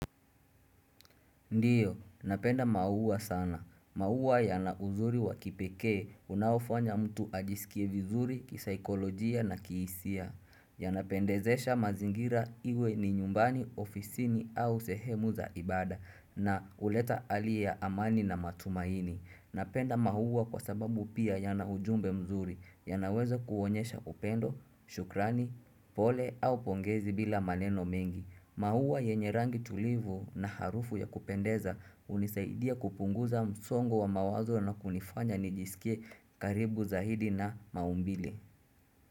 Ndiyo, napenda maua sana. Maua yana uzuri wa kipekee, unaofanya mtu ajisikie vizuri, kisaikolojia na kihisia. Yanapendezesha mazingira iwe ni nyumbani ofisini au sehemu za ibada na kuleta ali ya amani na matumaini. Napenda maua kwa sababu pia yana ujumbe mzuri, yanaweza kuonyesha upendo, shukrani, pole au pongezi bila maneno mengi. Mauwa yenye rangi tulivu na harufu ya kupendeza hunisaidia kupunguza msongo wa mawazo na kunifanya nijisikie karibu zaidi na maumbile.